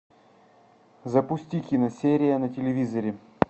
запусти киносерия на телевизоре